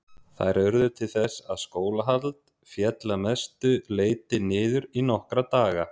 Þær urðu til þess að skólahald féll að mestu leyti niður í nokkra daga.